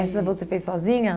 Essa você fez sozinha?